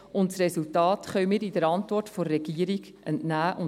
Das Resultat können wir der Antwort der Regierung entnehmen.